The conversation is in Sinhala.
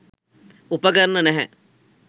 උපකරණ නැහැ.